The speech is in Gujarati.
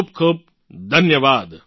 ખૂબ ખૂબ ધન્યવાદ